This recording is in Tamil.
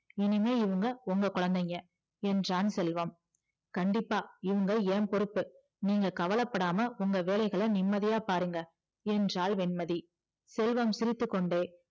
இனிமே இவங்க உங்க குழந்தைங்க என்றான் செல்வம் கண்டிப்பா இவங்க என் பொறுப்பு நீங்க கவல படாம உங்க வேலைய நிம்மதியா பாருங்க என்றால் வெண்மதி செல்வம் சிரித்துக்கொண்டே